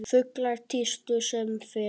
Fuglar tístu sem fyrr.